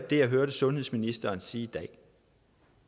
det jeg hørte sundhedsministeren sige